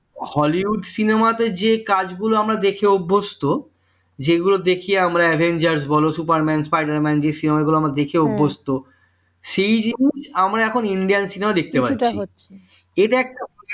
Hollywood cinema তে যে কাজগুলো আমরা দেখে অভ্যস্ত যেগুলো দেখি আমরা Avengers বল Superman Spider-Man যে cinema গুলো আমরা দেখে অভ্যস্ত সেই জিনিস আমরাএখন India cinema ই দেখতে পাচ্ছি এটা একটা